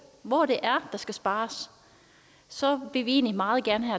hvor det er der skal spares så vil vi egentlig meget gerne